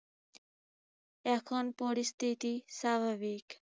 এখন পরিস্থিতি স্বাভাবিক।